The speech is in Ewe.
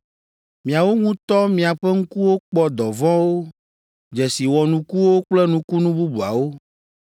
Miawo ŋutɔ miaƒe ŋkuwo kpɔ dɔvɔ̃wo, dzesi wɔnukuwo kple nukunu bubuawo,